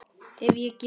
Ef ég get.